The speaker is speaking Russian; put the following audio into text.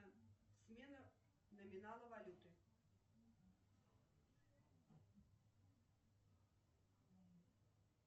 смена номинала валюты